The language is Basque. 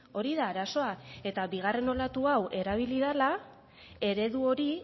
hori da arazoa eta bigarren olatu hau erabili dela eredu hori